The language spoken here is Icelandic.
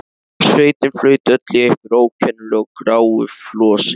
Sveitin flaut öll í einhverju ókennilegu gráu flosi.